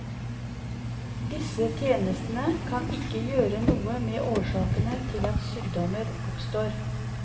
Disse tjenestene kan ikke gjøre noe med årsakene til at sykdommer oppstår.